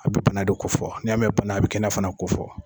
A bɛ bana de kofɔ n'i y'a mɛn bana a bɛ kɛnɛya fana kofɔ